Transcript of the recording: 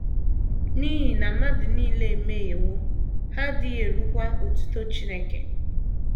N’ihi na “ mmadụ nile emehiewo, ha adịghị erukwa otuto Chineke. ”